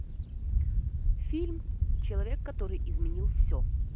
фильм человек который изменил все